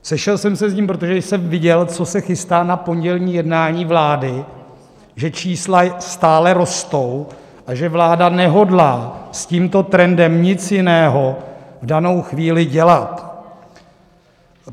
Sešel jsem se s ním, protože jsem viděl, co se chystá na pondělní jednání vlády, že čísla stále rostou a že vláda nehodlá s tímto trendem nic jiného v danou chvíli dělat.